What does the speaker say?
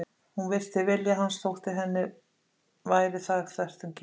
Hún virti vilja hans þótt henni væri það þvert um geð.